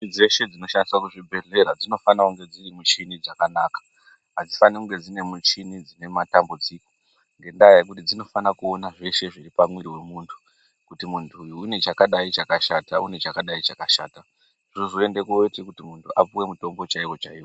Michini dzese dzinoshandiswa kuchibhedhlera dzinofana kunge dziri michini dzakanaka. Hadzifani kunge dzine muchi dzine matambudziko ngendaa yekuti dzinofana kuona zveshe zviri pamwiri vemuntu. Kuti muntu uyu unechakadai chakashata une chakadai chakashata, zvozoenda koti muntu apuve mutombo chaivo chaivo.